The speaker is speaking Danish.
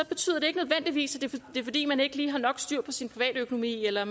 betyder det ikke nødvendigvis at det er fordi man ikke lige har nok styr på sin privatøkonomi eller